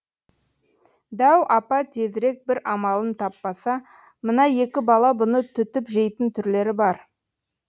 дәу апа тезірек бір амалын таппаса мына екі бала бұны түтіп жейтін түрлері бар